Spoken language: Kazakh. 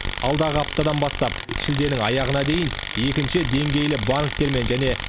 алдағы аптадан бастап шілденің аяғына дейін екінші деңгейлі банктермен және